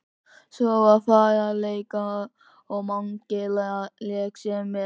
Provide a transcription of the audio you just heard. Svo var farið í leiki og Mangi lék sér með.